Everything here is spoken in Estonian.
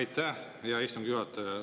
Aitäh, hea istungi juhataja!